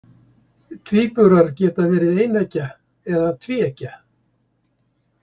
Tvíburar geta verið eineggja eða tvíeggja.